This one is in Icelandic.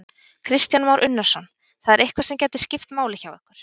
Kristján Már Unnarsson: Það er eitthvað sem gæti skipt máli hjá ykkur?